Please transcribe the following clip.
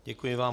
Děkuji vám.